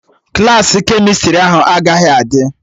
Klassị kemịstrị ahụ agaghị adị